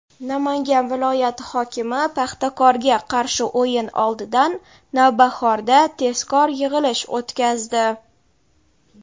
Namangan viloyati hokimi "Paxtakor"ga qarshi o‘yin oldidan "Navbahor"da tezkor yig‘ilish o‘tkazdi.